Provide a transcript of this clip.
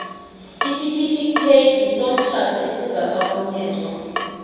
isitifikhethi somtjhado esingakarhunyezwa